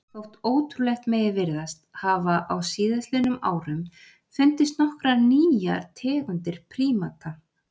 Þótt ótrúlegt megi virðast hafa á síðastliðnum árum fundist nokkrar nýjar tegundir prímata.